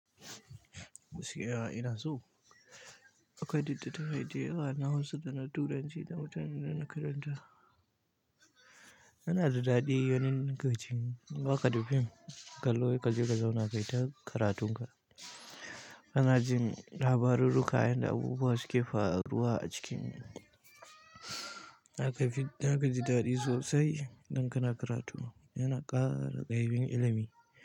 Gaskiya ina so, akwai datti ta yadda yawa na Hausa da na Turanci da mutanen da na karanta. Yana da daɗi ganin gajin waƙa da fim, kallo, gajergaje wanakai ta karatun ka. Ana jin labarurruka, yan da abubuwa suke faruwa a cikin. Na ga fid, na gaji daɗi sosai don kana karatu, yana ƙara ƙa'ibin ilimi.